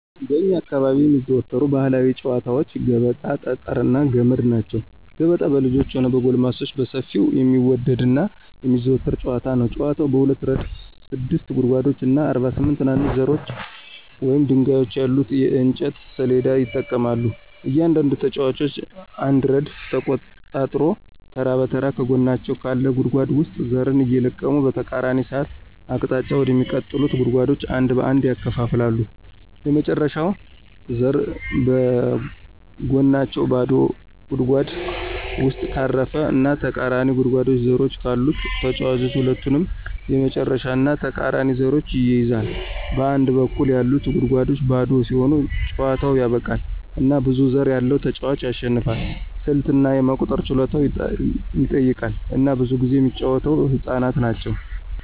በእኛ አካባቢ የሚዘወተሩ ባህላዊ ጨዋታወች ገበጣ፣ ጠጠር እና ገመድ ናቸው። ገበጣ በልጆችም ሆነ በጎልማሶች በሰፊው የሚወደድ እና የሚዘወተር ጨዋታ ነው። ጨዋታው በሁለት ረድፍ ስድስት ጉድጓዶች እና 48 ትናንሽ ዘሮች ወይም ድንጋዮች ያሉት የእንጨት ሰሌዳ ይጠቀማል. እያንዳንዱ ተጫዋች አንድ ረድፍ ተቆጣጥሮ ተራ በተራ ከጎናቸው ካለ ጉድጓድ ውስጥ ዘርን እየለቀመ በተቃራኒ ሰዓት አቅጣጫ ወደሚቀጥሉት ጉድጓዶች አንድ በአንድ ያከፋፍላል። የመጨረሻው ዘር በጎናቸው ባዶ ጉድጓድ ውስጥ ካረፈ እና ተቃራኒው ጉድጓድ ዘሮች ካሉት ተጫዋቹ ሁለቱንም የመጨረሻውን እና ተቃራኒውን ዘሮች ይይዛል. በአንድ በኩል ያሉት ጉድጓዶች ባዶ ሲሆኑ ጨዋታው ያበቃል፣ እና ብዙ ዘር ያለው ተጫዋች ያሸንፋል። ስልት እና የመቁጠር ችሎታን ይጠይቃል፣ እና ብዙ ጊዜ የሚጫወተው ህፃናት ናቸው።